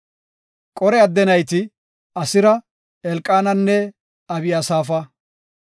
Qore adde nayti, Asira, Elqaananne Abiyasafa.